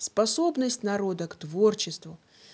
способность народа к творчеству